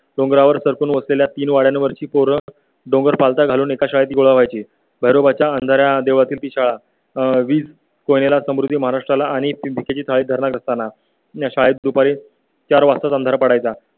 डोंगरावर वसलेल्या तीन वाड्यांवरची पोरं डोंगर पालथा घालून एका शाळेत गोळा व्हायची भैरोबाच्या अंधारा देवळातील ती शाळा सहवीस कोणाला स्मृती महाराष्ट्राला आणि ती चाळ असताना या शाळेत दुपारी चार वाजताच अंधार पडायला